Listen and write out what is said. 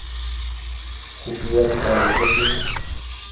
go fiwa dipalo go se